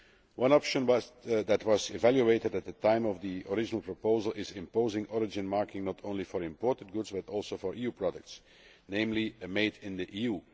One option that was evaluated at the time of the original proposal is imposing origin marking not only for imported goods but also for EU products, namely made in the EU'.